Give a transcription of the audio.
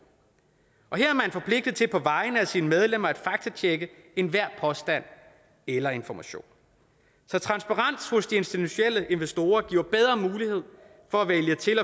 og her er forpligtet til på vegne af sine medlemmer at faktatjekke enhver påstand eller information så transparens hos de institutionelle investorer giver bedre mulighed for at vælge til